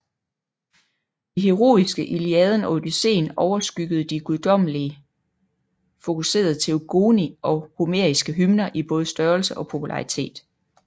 De heroiske Iliaden og Odysseen overskyggede de guddommelig fokuserede Teogoni og homeriske hymner i både størrelse og popularitet